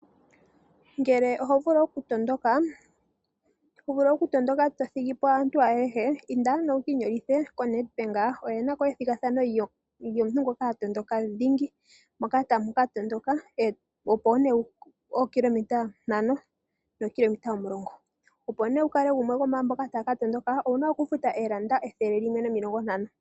Ngele oho vulu okutondoka to thigi po aantu ayehe, inda nduno wu ka inyolithe koNedbank oshoka oye na ko ethigathano lyomuntu ngoka ha tondoka dhingi, moka tamu ka tondoka oshinano shuule wookilometa ntano osho wo omulongo. Opo nduno wu kale gumwe gomwaamboka taya ka tondoka owu na okufuta oondola ethele limwe nomilongo ntano.